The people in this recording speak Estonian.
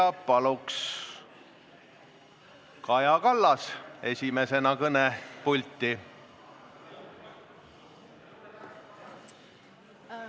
Palun esimesena kõnepulti Kaja Kallase!